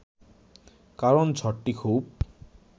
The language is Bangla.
কারণ ঝড়টি খুব